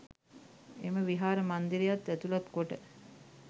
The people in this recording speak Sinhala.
එම විහාර මන්දිරයත් ඇතුළත් කොට